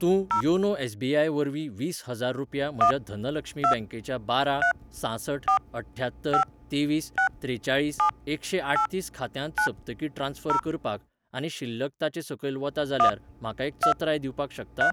तूं YONO SBI वरवीं वीस हजार रुपया म्हज्या धनलक्ष्मी बँकेच्या बारा सांसठ अठ्ठ्यात्तर तेवीस त्रेचाळीस एकशेंआठतीस खात्यांत सप्तकी ट्रान्स्फर करपाक आनी शिल्लक ताचे सकयल वता जाल्यार म्हाका एक चत्राय दिवपाक शकता?